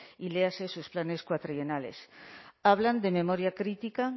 y léase sus planes cuatrienales hablan de memoria crítica